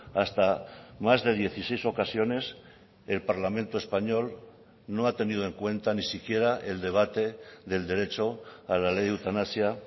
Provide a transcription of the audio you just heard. hasta más de dieciséis ocasiones el parlamento español no ha tenido en cuenta ni siquiera el debate del derecho a la ley de eutanasia